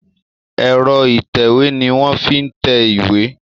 Ẹ̀rọ ìtẹ̀wé ni wọ́n ń fi tẹ ìwé.